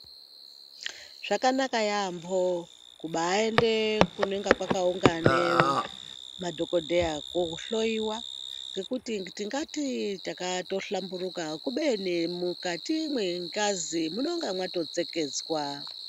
Zvakanaka yaamho, kubaaende kunonga kwakaungane madhokodheya, kohloiwa, ngekuti tingati takahlamburuka ,kubeni mukati mwengazi munonga mwatotseketswa.